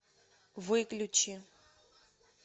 выключи